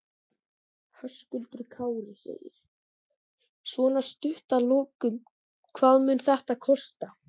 Höskuldur Kári: Svona stutt að lokum, hvað mun þetta kosta?